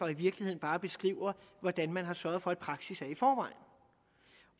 i virkeligheden bare beskriver hvordan man har sørget for at praksis er i forvejen